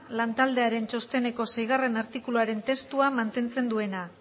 lantaldearen txosteneko seigarrena artikuluaren testua mantentzen duena